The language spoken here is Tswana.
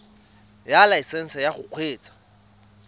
ya laesesnse ya go kgweetsa